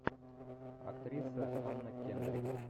актриса анна кендрик